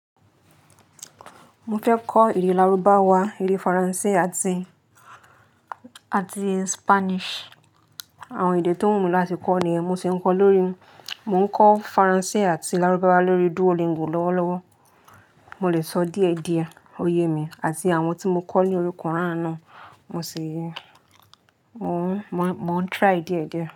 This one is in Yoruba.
Mo fẹ́ kọ́ èdè Lárúbáwá, èdè Faransé àti, àti Spanish. Àwọn èdè tó wù mí láti kọ́ ni èèyàn. Mo sì ń kọ́ lórí, mò ń kọ́ Faransé àti Lárúbáwá lórí Duolingo lọ́wọ́lọ́wọ́. Mo lè sọ díẹ̀díẹ̀, òye mi àti àwọn tí mo kọ́ ní ori kuran náà, mo sì, mò ń, mò ń, mò ń try díẹ̀díẹ̀.